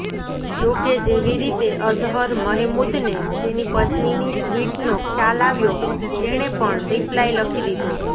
જોકે જેવી રીતે અઝહર મહેમૂદને તેની પત્નીની ટ્વીટનો ખ્યાલ આવ્યો તેણે પણ રિપ્લાય લખી દીધો